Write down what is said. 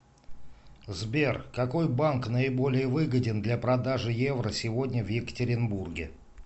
сбер какой банк наиболее выгоден для продажи евро сегодня в екатеринбурге